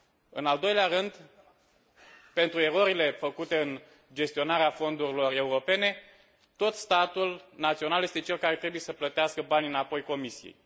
În al doilea rând, pentru erorile făcute în gestionarea fondurilor europene, tot statul național este cel care trebuie să plătească banii înapoi Comisiei.